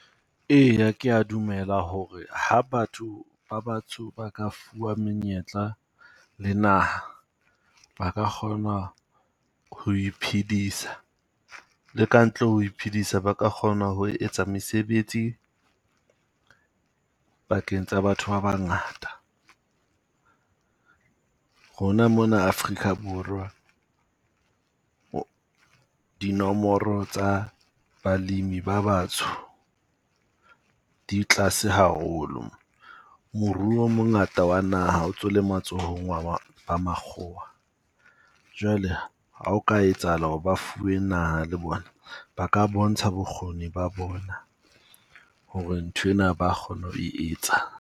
Eya ke ya dumela hore ha batho ba batsho ba ka fuwa menyetla le naha, ba ka kgona ho iphidisa. Le ka ntle ho iphedisa, ba ka kgona ho etsa mesebetsi pakeng tsa batho ba bangata. Rona mona Afrika Borwa, dinomoro tsa balimi ba batsho di tlase haholo. Moruo o mongata wa naha o ntso o le matsohong wa wa makgowa. Jwale ha o ka etsahala hore ba fuwe naha le bona, ba ka bontsha bokgoni ba bona ho re nthwena ba kgona ho e etsa.